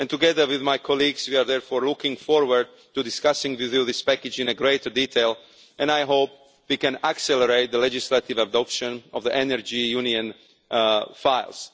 Together, with my colleagues, we are looking forward to discussing with you this package in greater detail, and I hope we can accelerate the legislative adoption of the Energy Union files.